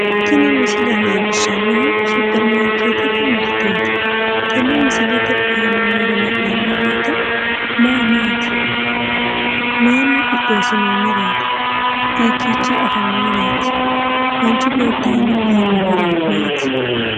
Tini misile leelishannohu supermarkeetete miriteet tenne misilete aana noore la'neemo woyite maa maat? Mayinni qixeesinoonireet? Hiikiichi afameworeeti? Manichi beeti aana aanno horo maati?